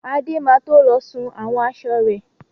Adé má to lọ sun àwọn aṣọ rẹ̀.